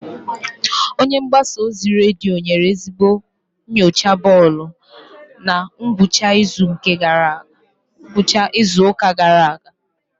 Onye mgbasa ozi redio nyere ezigbo nyocha bọọlụ na ngwụcha izu ụka gara aga.